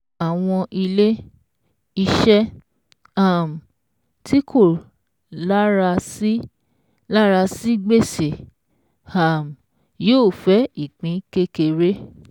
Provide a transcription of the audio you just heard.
Àwọn ilé-iṣẹ́ um tí kò lara sí lara sí gbèsè um yóò fẹ́ ìpín kékeré.